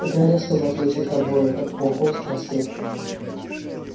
гарри чтобы отвлечь их обоих от пауков спросил